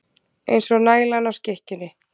Eins og nælan á skikkjunni.